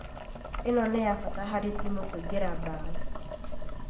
ĩno nĩ ya bata harĩ timũ kũingĩria mbaũ